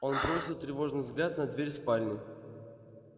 он бросил тревожный взгляд на дверь спальни